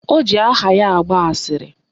O ji aha ya agba asịrị